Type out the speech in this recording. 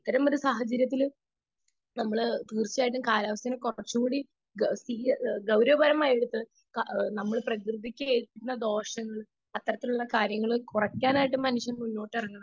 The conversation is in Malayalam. സ്പീക്കർ 2 അത്തരം ഒരു സാഹചര്യത്തിൽ നമ്മൾ തീർച്ചയായും കാലാവസ്ഥയെ കുറച്ചുകൂടി ഗൗരവമായിട്ട് എടുത്തു നമ്മൾ പ്രകൃതിക്ക് ഏൽക്കുന്ന ദോഷങ്ങൾ അത്തരത്തിലുള്ള കാര്യങ്ങൾ കുറക്കാനായിട്ട് മനുഷ്യൻ മുന്നിട്ടിറങ്ങണം